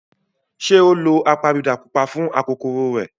Ṣé ó lo apabidà pupa fún akokoro rẹ̀?